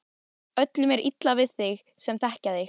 Öllum er illa við þig sem þekkja þig!